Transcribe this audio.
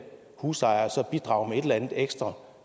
husejere så skulle bidrage med et eller andet ekstra